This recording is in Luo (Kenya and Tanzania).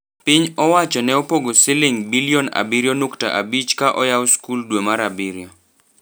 Piny owacho neopogo siling bilion abirio nukta abich ka oyao school dwe mar abich.